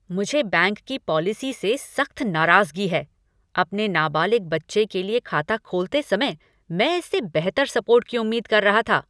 मुझे बैंक की पॉलिसी से सख्त नाराजगी है। अपने नाबालिग बच्चे के लिए खाता खोलते समय मैं इससे बेहतर सपोर्ट की उम्मीद कर रहा था।